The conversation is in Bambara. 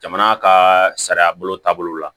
Jamana ka sariya bolo taabolo la